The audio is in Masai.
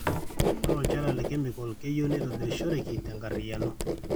ore olchala le kemikol keyieu netobirishoreki tenkarriyiano